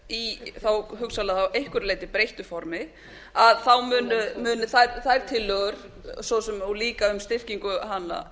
í þá hugsanlega að einhverju leyti breyttu formi að þá muni þær tillögur svo sem og líka um styrkingu